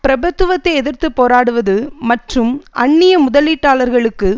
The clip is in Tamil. பிரபுத்துவத்தை எதிர்த்து போராடுவது மற்றும் அந்நிய முதலீட்டாளர்களுக்கு